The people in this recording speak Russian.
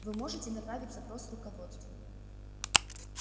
вы можете направить запрос руководству